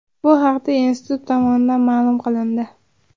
Bu haqda institut tomonidan ma’lum qilindi .